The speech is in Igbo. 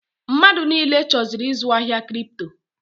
Mmadụ niile chọziri ịzụ ahịa Kripto.